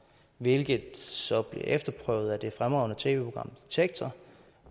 hvilket så blev efterprøvet af det fremragende tv program detektor